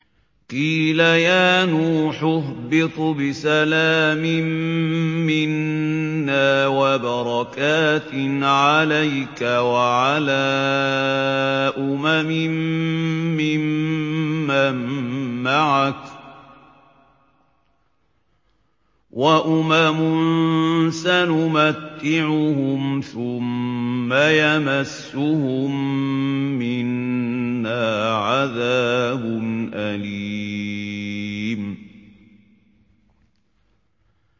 قِيلَ يَا نُوحُ اهْبِطْ بِسَلَامٍ مِّنَّا وَبَرَكَاتٍ عَلَيْكَ وَعَلَىٰ أُمَمٍ مِّمَّن مَّعَكَ ۚ وَأُمَمٌ سَنُمَتِّعُهُمْ ثُمَّ يَمَسُّهُم مِّنَّا عَذَابٌ أَلِيمٌ